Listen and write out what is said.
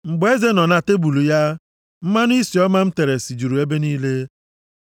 Mgbe eze nọ na tebul ya, mmanụ isi ọma m tere sijuru ebe niile.